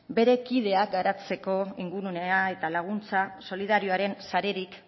bere kideak garatzeko ingurunea eta laguntza solidariorik sarerik